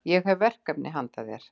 Ég hef verkefni handa þér.